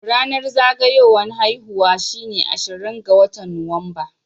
Ranar zagayuwan haihuwa shine ashirin ga watan Nuwamba.